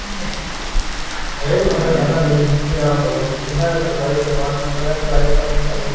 ਹਰੇਕ ਬੰਦਾ ਕਹਿੰਦਾ ਮੇਰੀ ਮੁੱਥੀ ਗਰਮ ਕਰੋ ਜਿੰਨਾ ਸਰਕਾਰੀ department ਆ ਹਲੇ private ਆਲੇ ਨੀ ਕਰਦੇ